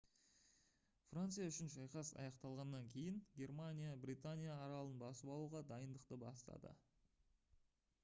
франция үшін шайқас аяқталғаннан кейін германия британия аралын басып алуға дайындықты бастады